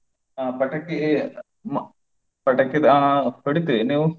ಅಹ್ ಪಟಾಕಿ ಪಟಾಕಿದು ಅಹ್ ಹೊಡಿತೇವೆ, ನೀವು?